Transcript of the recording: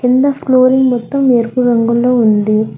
కింద ఫ్లోరింగ్ మొత్తం ఎరుపు రంగులో ఉంది.